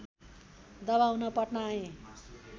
दबाउन पटना आए